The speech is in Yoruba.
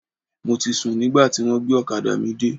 Mo ti sùn nígbà tí wọ́n gbé ọ̀kadà mi dé.